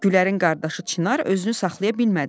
Gülərin qardaşı Çinar özünü saxlaya bilmədi.